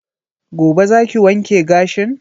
Gobe za ki wanke gashin?